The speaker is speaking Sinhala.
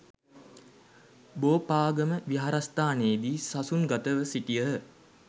බෝපාගම විහාරස්ථානයේදී සසුන් ගතව සිටියහ.